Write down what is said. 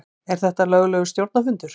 Er þetta löglegur stjórnarfundur?